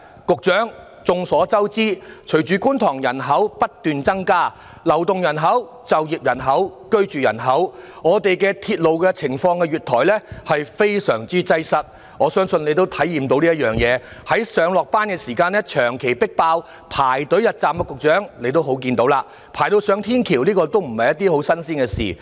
局長，眾所周知，隨着觀塘區人口不斷增加——流動人口、就業人口、居住人口，我們的鐵路月台非常擠迫，我相信你也應該體驗得到這情況，在上下班的時候長期迫爆，市民要排隊入站，局長應該看到了，市民要排隊上天橋的情況屢見不鮮。